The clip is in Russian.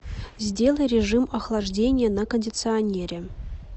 сделай режим охлаждения на кондиционере